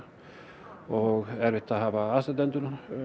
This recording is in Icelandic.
og erfitt að hafa aðstandendur